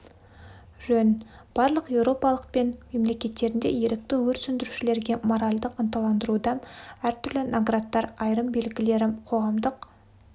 жөн барлық еуропалық мен мемлекеттерінде ерікті өрт сөндірушілерге моральдік ынталандыруда әртүрлі наградтар айырым белгілері қоғамдық